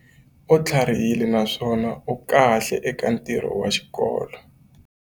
U tlharihile naswona u kahle eka ntirho wa xikolo.